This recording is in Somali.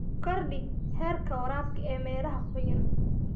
Kordhi heerka waraabka ee meelaha qoyan.